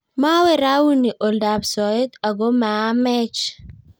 Mawe rauni oldab soeet aku maamech